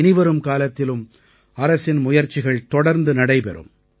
இனிவரும் காலத்திலும் அரசின் முயற்சிகள் தொடர்ந்து நடைபெறும்